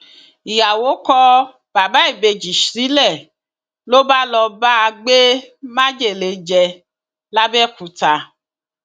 ìyàwó kọ bàbá ìbejì sílẹ ló bá ló bá gbé májèlé jẹ lápbèòkúta